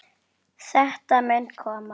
Þetta mun koma.